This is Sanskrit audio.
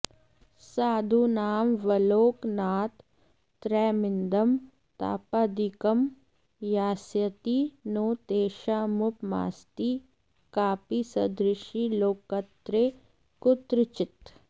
साधूनामवलोकनात् त्रयमिदं तापादिकं यास्यति नो तेषामुपमास्ति कापि सदृशी लोकत्रये कुत्रचित्